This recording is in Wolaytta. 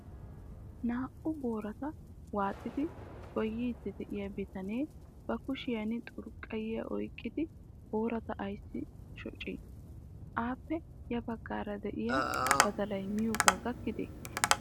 Naa"u boorata waaxxidi goydsi de'iya bitanee ba kushiyan xurqqayiya oyqqidi boorata ayssi shoccii? Appe ya baggaara de'iyaa badalay miyooga gakkide?